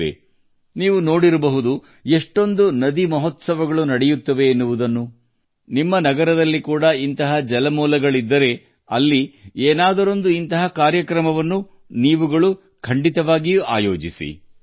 ಇಂದಿನ ದಿನಗಳಲ್ಲಿ ಎಷ್ಟು ನದಿ ಉತ್ಸವಗಳು ನಡೆಯುತ್ತಿವೆ ಎಂಬುದನ್ನು ನೀವು ನೋಡಿರಬಹುದು ನಿಮ್ಮ ನಗರಗಳಲ್ಲಿ ಯಾವುದೇ ನೀರಿನ ಮೂಲಗಳಿದ್ದರೂ ನೀವು ಒಂದಲ್ಲ ಒಂದು ಕಾರ್ಯಕ್ರಮವನ್ನು ಆಯೋಜಿಸುವಂತಾಗಬೇಕು